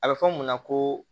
A bɛ fɔ mun ma ko